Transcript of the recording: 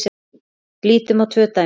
Lítum á tvö dæmi.